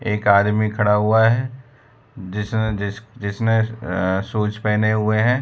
एक आदमी खड़ा हुआ है जिसने जिस जिसने अ शूज पहने हुए हैं।